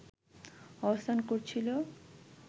অবস্থান করছিল